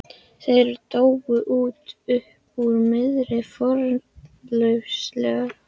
Þeir dóu út upp úr miðri fornlífsöld.